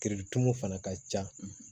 Kiritumu fana ka ca